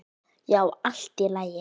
Já, allt í lagi.